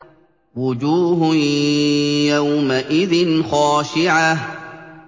وُجُوهٌ يَوْمَئِذٍ خَاشِعَةٌ